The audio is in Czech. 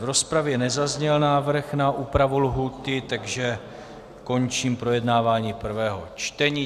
V rozpravě nezazněl návrh na úpravu lhůty, takže končím projednávání prvního čtení.